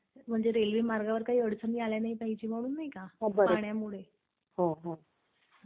म्हणजे रेल्वे मार्गावर काही अडचणी नाही आल्या पाहिजे म्हणून नाही का, पाण्यामुळे.